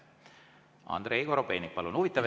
Andrei Korobeinik, palun!